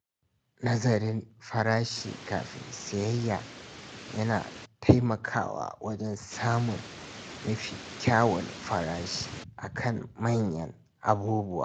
Nazarin farashi kafin sayayya yana taimakawa wajen samun mafi kyawun farashi a kan manyan abubuwa.